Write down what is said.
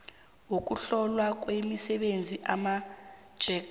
wokuhlolwa kwemisebenzi amapjec